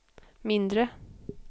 mindre